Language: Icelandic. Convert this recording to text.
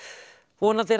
vonandi er